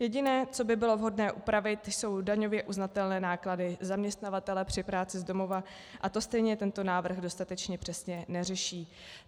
Jediné, co by bylo vhodné upravit, jsou daňově uznatelné náklady zaměstnavatele při práci z domova a to stejně tento návrh dostatečně přesně neřeší.